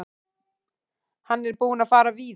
Hann er búinn að fara víða.